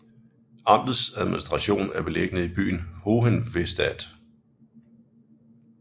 Amtets administration er beliggende i byen Hohenwestedt